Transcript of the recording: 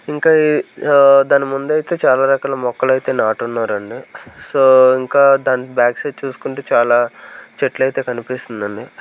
ఇంకా ఈ ఆ దాని ముందు అయితే చాలా రకాల మొక్కలు అయితే నాటున్నారండి సో ఇంకా దాని బ్యాక్ సైడ్ చూసుకుంటే చాలా చెట్లు అయితే కనిపిస్తుందండి.